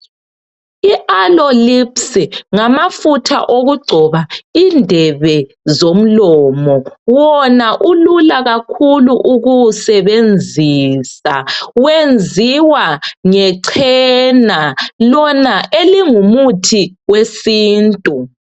IAloe Lips ngamafutha okugcoba indebe zomlomo. Wona ulula kakhulu ukuwasebenzisa, wenziwa ngechena Lona elingumuthi wesintu.